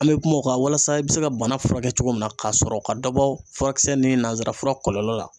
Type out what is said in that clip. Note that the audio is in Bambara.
An bɛ kuma o kan walasa i bɛ se ka bana furakɛ cogo min na, k'a sɔrɔ ka dɔ bɔ furakisɛ ni nanzara fura kɔlɔlɔ la.